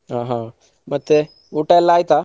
ಹ ಹ ಮತ್ತೆ ಊಟ ಎಲ್ಲ ಆಯ್ತಾ?